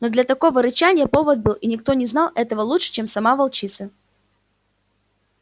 но для такого рычания повод был и никто не знал этого лучше чем сама волчица